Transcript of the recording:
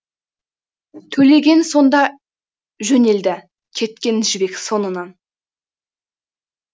төлеген сонда жөнелді кеткен жібек соңынан